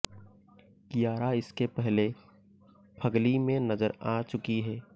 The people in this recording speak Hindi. कियारा इसके पहले फग्ली में नजर आ चुकी हैं